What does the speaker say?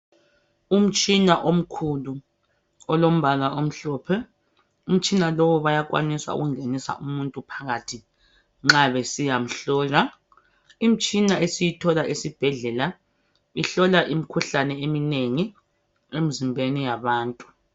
Umtshina omkhulu olombala omhlophe, umtshina lowu bayakwanisa ungengisa umuntu phakathi nxa besiya mhlola. Imitshina esiyithola esibhedlela ihlola imkhuhlane eminengi emzimbeni yabantu.